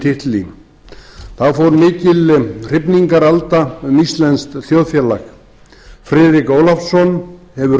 titli þá fór mikil hrifningaralda um íslenskt þjóðfélag friðrik ólafsson hefur